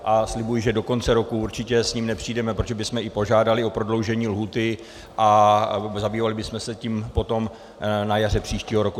A slibuji, že do konce roku určitě s ním nepřijdeme, protože bychom i požádali o prodloužení lhůty a zabývali bychom se tím potom na jaře příštího roku.